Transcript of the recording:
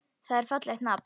Það er fallegt nafn.